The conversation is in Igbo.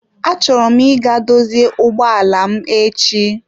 Achọrọ m ịga dozie ụgbọ ala m echi.